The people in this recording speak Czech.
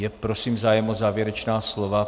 Je prosím zájem o závěrečná slova?